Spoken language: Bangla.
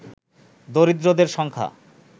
দরিদ্রদের সংখ্যা